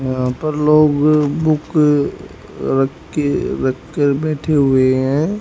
यहां पर लोग बुक रख के रखकर बैठे हुए हैं।